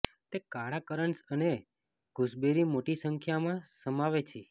તે કાળા કરન્ટસ અને ગૂસબેરી મોટી સંખ્યામાં સમાવે છે